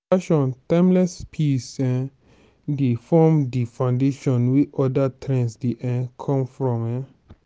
fashion timeless pieces um dey form di foundation wey oda trends dey um come from um